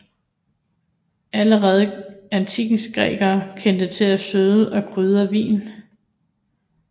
Allerede antikkens grækere kendte til at søde og krydre vin